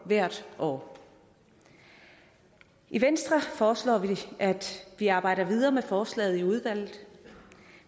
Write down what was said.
hvert år i venstre foreslår vi at vi arbejder videre med forslaget i udvalget